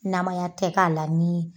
Naya tɛ k'a la ni